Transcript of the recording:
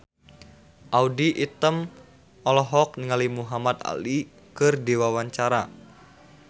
Audy Item olohok ningali Muhamad Ali keur diwawancara